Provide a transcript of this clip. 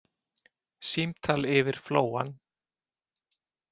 Símtal yfir flóann